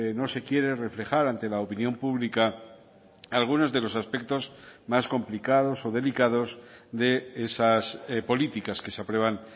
no se quiere reflejar ante la opinión pública algunos de los aspectos más complicados o delicados de esas políticas que se aprueban